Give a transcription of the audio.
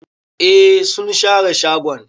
Eh sun share shagon.